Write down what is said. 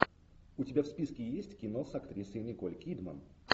у тебя в списке есть кино с актрисой николь кидман